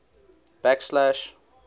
blacksash